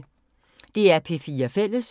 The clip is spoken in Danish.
DR P4 Fælles